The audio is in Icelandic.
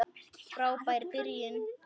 Frábær byrjun.